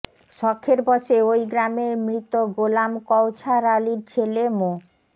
শখের বসে ওই গ্রামের মৃত গোলাম কওছার আলীর ছেলে মো